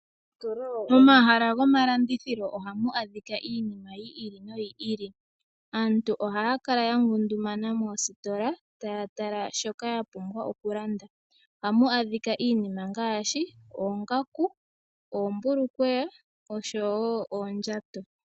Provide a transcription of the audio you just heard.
Momahala gomalandithilo ohamu adhika iinima yi ili noyi ili. Aantu ohaya kala yangundumana moositola taya tala shoka yapumbwa okulanda. Ohamu adhika iinima ngaashi, oongaku, oombulukweya osho wo oondjato.